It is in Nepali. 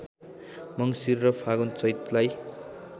मङ्सिर र फागुन चैतलाई